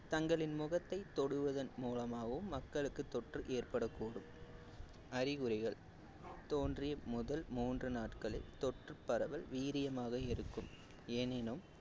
தங்களின் முகத்தை தொடுவதன் மூலமாகவும் மக்களுக்கு தொற்று ஏற்படக்கூடும் அறிகுறிகள் தோன்றிய முதல் மூன்று நாட்களில் தொற்று பரவல் வீரியமாக இருக்கும் ஏனெனும்